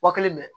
Wa kelen bɛ